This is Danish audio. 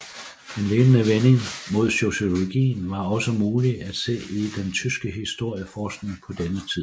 En lignende vending mod sociologien var også mulig at se i den tyske historieforskning på denne tid